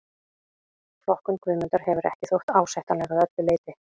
Flokkun Guðmundar hefur ekki þótt ásættanleg að öllu leyti.